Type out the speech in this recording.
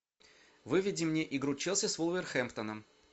выведи мне игру челси с вулверхэмптоном